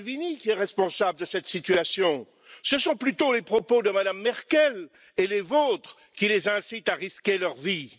Salvini qui est responsable de cette situation, ce sont plutôt les propos de Mme Merkel et les vôtres qui les incitent à risquer leur vie.